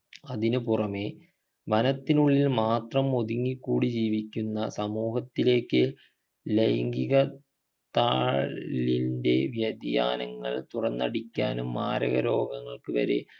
അതിനുപുറമേ വനത്തിനുള്ളിൽ മാത്രം ഒതുങ്ങിക്കൂടി ജീവിക്കുന്ന സമൂഹത്തിലേക്ക് ലൈംഗിക താളിൻ്റെ വ്യതിയാനങ്ങൾ തുറന്നടിക്കാനും മാരക രോഗങ്ങൾക്കു വരെ